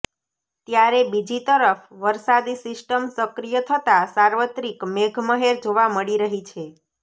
ત્યારે બીજી તરફ વરસાદી સિસ્ટમ સક્રિય થતાં સાર્વત્રિક મેઘમહેર જોવા મળી રહી છે